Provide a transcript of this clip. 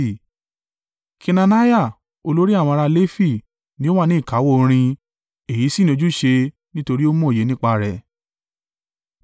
Kenaniah olórí àwọn ará Lefi ni ó wà ní ìkáwọ́ orin èyí sì ni ojúṣe nítorí ó mòye nípa rẹ̀.